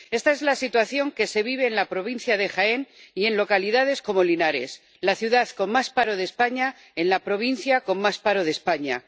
Esta es la situación que se vive en la provincia de Jaén y en localidades como Linares, la ciudad con más paro de España en la provincia con más paro de España.